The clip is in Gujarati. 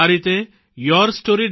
આ રીતે yourstory